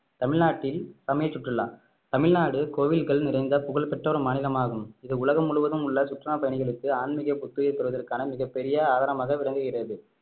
தமிழ்நாட்டில் சமய சுற்றுலா தமிழ்நாடு கோவில்கள் நிறைந்த புகழ் பெற்ற ஒரு மாநிலமாகும் இது உலகம் முழுவதும் உள்ள சுற்றுலா பயணிகளுக்கு ஆன்மீக புத்துயிர் பெறுவதற்கான மிகப்பெரிய ஆதாரமாக விளங்குகிறது